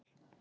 Hnífsdal